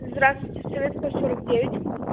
здравствуйте советская сорок девять